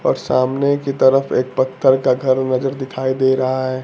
और सामने की तरफ एक पत्थर का घर नजर दिखाई दे रहा है।